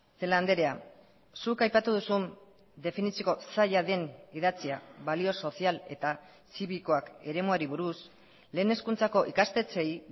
celaá andrea zuk aipatu duzun definitzeko zaila den idatzia balio sozial eta zibikoak eremuari buruz lehen hezkuntzako ikastetxeei